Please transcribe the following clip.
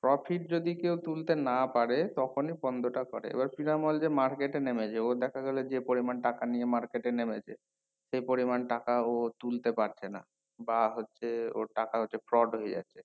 profit যদি কেও তুলতে না পারে তখনি বন্ধটা করে এবার পিনামাল যে market এ নেমেছে ও দেখা গেলো যে পরিমান নিয়ে market এ নেমেছে সেই পরিমান টাকা ও তুলতে পারছে না বা হচ্ছে ওর টাকা হচ্ছে fraud হয়ে যাচ্ছে